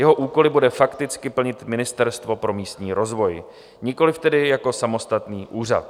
Jeho úkoly bude fakticky plnit Ministerstvo pro místní rozvoj, nikoliv tedy jako samostatný úřad.